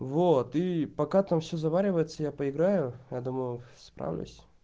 вот и пока там все заваривается я поиграю я думаю справлюсь